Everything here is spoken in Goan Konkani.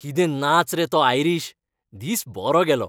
कितें नाच रे तो आयरीश! दीस बरो गेलो.